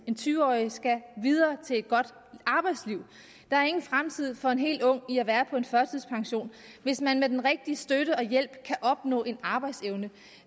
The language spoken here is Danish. en tyve årig skal videre til et godt arbejdsliv der er ingen fremtid for en helt ung i at være på førtidspension hvis man med den rigtige støtte og hjælp kan opnå en arbejdsevne